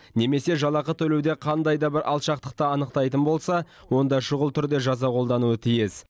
немесе жалақы төлеуде қандай да бір алшақтықты анықтайтын болса онда шұғыл түрде жаза қолдануы тиіс